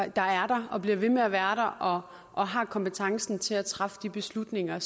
og bliver ved med at være der og og har kompetencen til at træffe de beslutninger